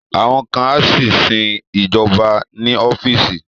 Àwọn kan á sì sin ìjọba ní ọ́fíìsì